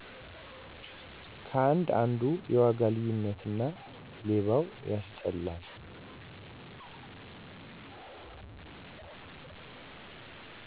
ከአንድ አንዱ የዋጋ ልዩነት እና ሌባው ያስጠላል